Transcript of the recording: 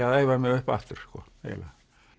að æfa mig upp aftur eiginlega